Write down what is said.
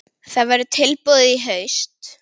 Það verður tilbúið í haust.